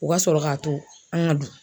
O ka sɔrɔ k'a to an ŋa du.